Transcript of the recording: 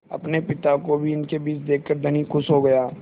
अपने पिता को भी इनके बीच देखकर धनी खुश हो गया